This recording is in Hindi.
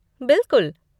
बिलकुल!